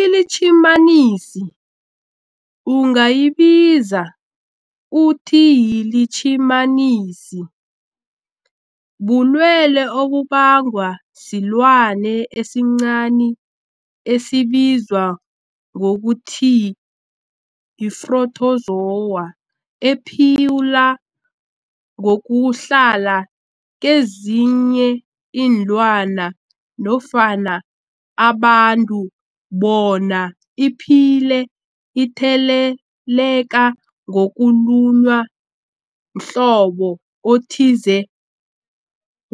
iLitjhimanisi ungayibiza uthiyilitjhimanisi, bulwelwe obubangwa silwanyana esincani esibizwa ngokuthiyi-phrotozowa ephila ngokuhlala kezinye iinlwana nofana abantu bona iphile itheleleka ngokulunywa mhlobo othize